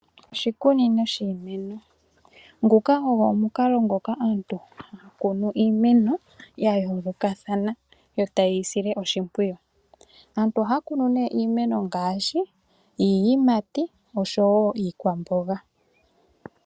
Oshikunino shiimeno, nguka ogo omukalo ngoka aantu haya kunu iimeno ya yoolokathana yo taye yi sile oshimpwiyu. Aantu ohaya kunu nee iimeno ngaashi iiyimati osho woo iikwamboga.